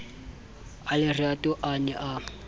a lerato a ne a